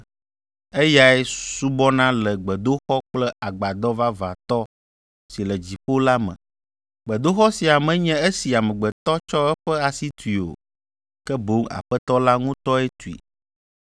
eyae subɔna le gbedoxɔ kple agbadɔ vavãtɔ si le dziƒo la me. Gbedoxɔ sia menye esi amegbetɔ tsɔ eƒe asi tui o, ke boŋ Aƒetɔ la ŋutɔe tui.